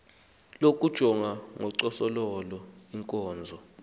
lokujonga ngocoselelo iinkonzo